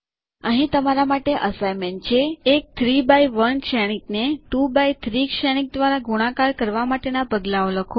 અહીં તમારા માટે અસાઈનમેન્ટ છે એક 3એક્સ1 શ્રેણિક ને 2એક્સ3 શ્રેણિક દ્વારા ગુણાકાર કરવા માટેના પગલાંઓ લખો